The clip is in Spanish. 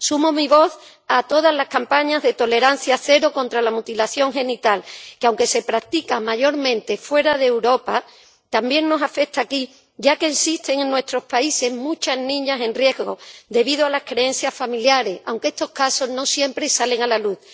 Sumo mi voz a todas las campañas de tolerancia cero contra la mutilación genital, que, aunque se practica mayormente fuera de Europa, también nos afecta aquí, ya que existen en nuestros países muchas niñas en riesgo, debido a las creencias familiares, aunque estos casos no siempre salen a la luz.